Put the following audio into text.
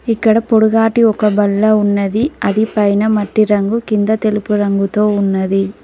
ఇక్కడ పొడుగాటి ఒక బల్ల ఉన్నది అది పైన మట్టి రంగు కింద తెలుపు రంగుతో ఉన్నది.